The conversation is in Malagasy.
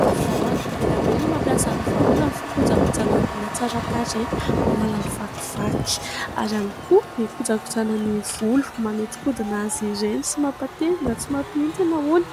Ny vahona; be dia be no mampiasa ny vahona amin'ny fokojagojanan'ny hatsaran-tarehy, manala ny vakivaky ary ihany koa ikojagojana ny volo : manodinkodina azy ireny sy mampatevina tsy mampihintsana hono.